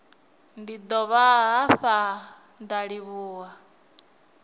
ndi dovha hafhu nda livhuwa